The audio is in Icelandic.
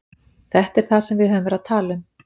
Þetta er það sem við höfum verið að tala um.